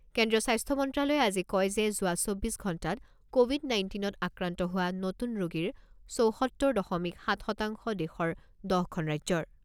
কেন্দ্ৰীয় স্বাস্থ্য মন্ত্ৰ্যালয়ে আজি কয় যে যোৱা চৌব্বিছ ঘণ্টাত ক’ভিড নাইণ্টিনত আক্ৰান্ত হোৱা নতুন ৰোগীৰ চৌসত্তৰ দশমিক সাত শতাংশ দেশৰ দহ খন ৰাজ্যৰ।